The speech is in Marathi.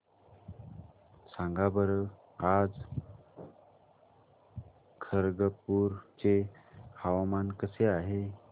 सांगा बरं आज खरगपूर चे हवामान कसे आहे